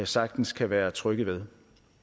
sagtens kan være trygge ved